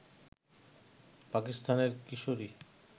পাকিস্তানের কিশোরী